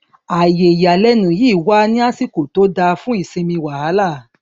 ààyè ìyàlẹnu yìí wá ní àsìkò tó dáa fún ìsinmi wàhálà